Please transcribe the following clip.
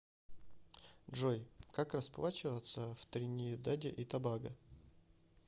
джой как расплачиваться в тринидаде и тобаго